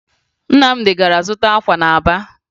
Nnamdị gara zụta akwa na Aba